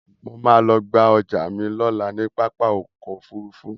Mo ma lọ gba ọjà mi lọ́la ní pápá ọkọ̀ Òfurufú